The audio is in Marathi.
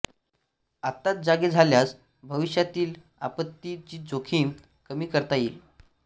आत्ताच जागे झाल्यास भविष्यातील आपत्ती ची जोखीम कमी करता येईल